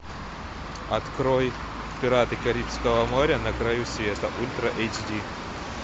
открой пираты карибского моря на краю света ультра эйч ди